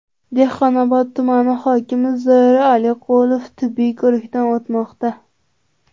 Dehqonobod tumani hokimi Zoir Aliqulov tibbiy ko‘rikdan o‘tmoqda.